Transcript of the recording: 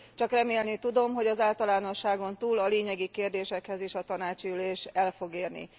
Csak remélni tudom, hogy az általánosságon túl a lényegi kérdésekhez is a tanácsi ülés el fog érni.